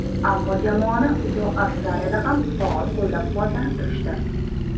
Ammo jamoani uzoq Avstraliyada ham faol qo‘llab-quvvatlanib turishdi.